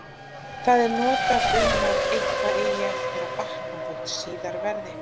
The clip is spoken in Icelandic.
Það er notað um að eitthvað eigi eftir að batna þótt síðar verði.